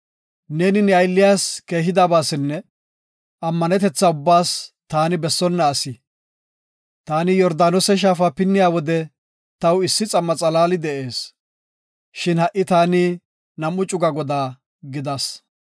neeni ne aylliyas keehidabasinne ammanetetha ubbaas taani bessona asi. Taani Yordaanose shaafa pinniya wode taw issi xam7a xalaali de7ees; shin ha7i taani nam7u cuga godaa gidas.